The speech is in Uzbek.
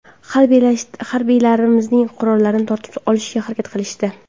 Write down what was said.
Harbiylarimizning qurollarini tortib olishga harakat qilishdi.